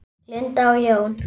Linda og Jón.